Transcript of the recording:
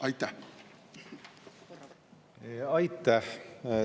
Aitäh!